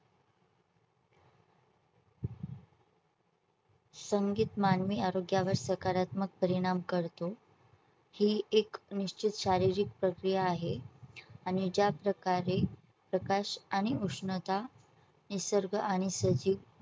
संगीत मानवी आरोग्या वर सकारात्मक परिणाम करतो ची एक निश्चित शारीरिक प्रक्रिया आहे आणि ज्या प्रकारे प्रकाश आणि उष्णता निसर्ग आणि सजीव